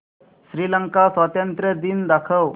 श्रीलंका स्वातंत्र्य दिन दाखव